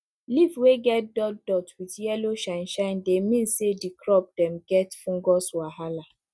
leaf wey get dot dot wit yellow shine shine dey mean say di crop dem get fungus wahala